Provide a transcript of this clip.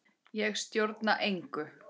Ég stjórna engu.